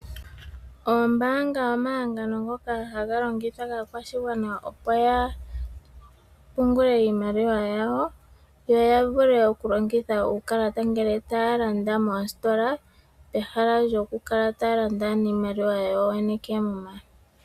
Oombanga omahangano ngaka haga longithwa kaakwashigwana opo ya pungule iimaliwa yawo, yo ya vule okulongitha uukalata ngele taya landa moositola. Pehala lyokukala taya landa niimaliwa yawo yene koomuma.